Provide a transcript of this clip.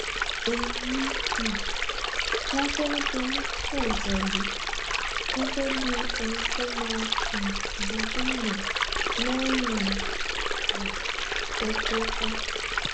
èmi um lákérédolù fòńtẹ̀ lù gẹgẹ bíi ẹni tó máa um di gómìnà lẹyìn rẹ̀ kó tó kú